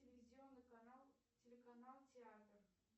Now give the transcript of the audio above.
телевизионный канал телеканал театр